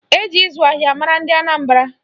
Eji ịzụ ahịa mara ndị Anambara